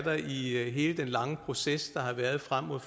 lange proces der har været frem mod